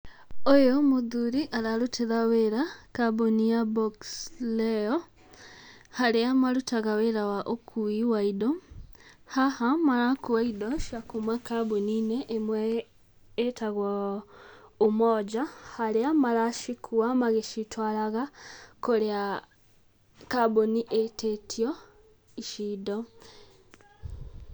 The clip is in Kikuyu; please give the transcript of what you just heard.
Ũyũ mũthũri ararũtĩra wĩra kambuni ya Box Leo, harĩa marutaga wĩra wa ũkui wa indo. Haha marakua indo cia kuuma kambuni-inĩ ĩmwe ĩtagwo Umoja, harĩa maracikua magĩcitwaraga kũrĩa kambuni ĩtĩtio ici indo.